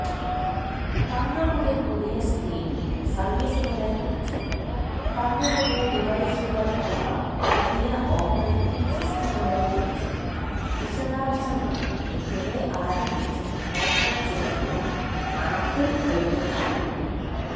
തങ്ങളുടെ പുതിയ സ്ട്രീമിങ് സർവീസുകളെക്കുറിച്ചും തങ്ങളുടെ ഡിവൈസുകൾക്കുള്ള പുതിയ ഓപ്പറേറ്റിങ് സിസ്റ്റങ്ങളെക്കുറിച്ചുംവിശദാംശങ്ങളും ഇന്നലെ ആരംഭിച്ച കോൺഫറൻസിലൂടെ ആപ്പിൾ വെളിപ്പെടുത്തിയിട്ടുണ്ട്